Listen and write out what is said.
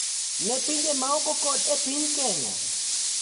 Ne pinje maoko kod e piny Kenya.